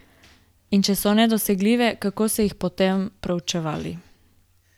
In če so nedosegljive, kako so jih potem preučevali?